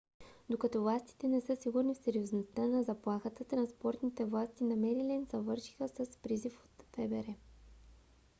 докато властите не са сигурни в сериозността на заплахата транспортните власти на мериленд завършиха с призив от фбр